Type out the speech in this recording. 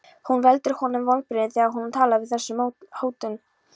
Hún veldur honum vonbrigðum þegar hún talar á þessum nótum.